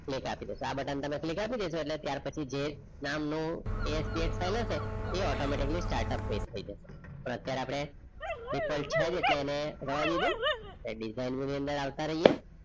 Click આપી દો આ button તમે click આપી દેશો એટલે ત્યાર પછી જે નામનુ એ SPS ચાલે છે. એ automatically startup page થઈ જશે પણ અત્યારે આપણે default છે જ એટલે એને રહેવા દીધું design ની અંદર આવતા રહીએ.